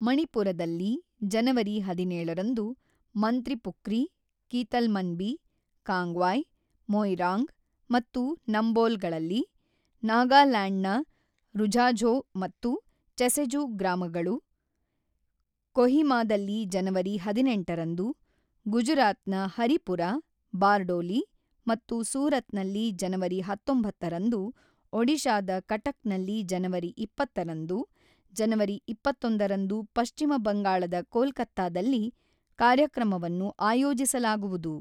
ಮಣಿಪುರದಲ್ಲಿ ಜನವರಿ ಹದಿನೇಳು ರಂದು ಮಂತ್ರಿಪುಖ್ರಿ, ಕೀತಲ್ಮನ್ಬಿ, ಕಾಂಗ್ವಾಯ್, ಮೊಯಿರಾಂಗ್ ಮತ್ತು ನಂಬೋಲ್ ಗಳಲ್ಲಿ, ನಾಗಲ್ಯಾಂಡ್ ನ ರುಝಾಝೋ ಮತ್ತು ಚೆಸೆಜು ಗ್ರಾಮಗಳು, ಕೊಹಿಮಾದಲ್ಲಿ ಜನವರಿ ಹದಿನೆಂಟರಂದು, ಗುಜರಾತ್ ನ ಹರಿಪುರ, ಬಾರ್ಡೋಲಿ ಮತ್ತು ಸೂರತ್ ನಲ್ಲಿ ಜನವರಿ ಹತೊಂಬತ್ತು ರಂದು ಒಡಿಶಾದ ಕಟಕ್ ನಲ್ಲಿ ಜನವರಿ ಇಪ್ಪತ್ತರಂದು, ಜನವರಿ ಇಪ್ಪತ್ತೊಂದು ರಂದು ಪಶ್ಚಿಮ ಬಂಗಾಳದ ಕೋಲ್ಕತ್ತಾದಲ್ಲಿ ಕಾರ್ಯಕ್ರಮವನ್ನು ಆಯೋಜಿಸಲಾಗುವುದು.